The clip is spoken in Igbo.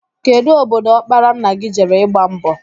Kedụ obodo ọkpara nna gị jere ịgba mbọ?